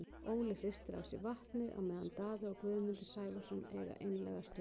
Óli hristir af sér vatnið á meðan Daði og Guðmundur Sævarsson eiga einlæga stund.